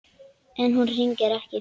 En hún hringir ekki.